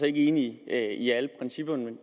ikke enig i alle principperne men